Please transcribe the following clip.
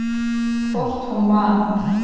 Hvort hún man!